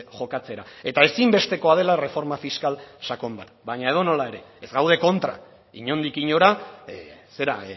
jokatzera eta ezinbestekoa dela erreforma fiskal sakon bat baina edonola ere ez gaude kontra inondik inora zera